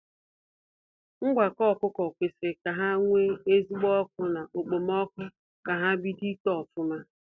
Ngwakọ ọkụkọ kwesịrị ka ha nwee ezigbo ọkụ na okpomọkụ ka ha bido ito ofụma.